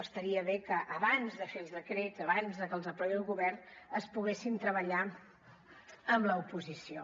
estaria bé que abans de fer els decrets abans de que els aprovi el govern es poguessin treballar amb l’oposició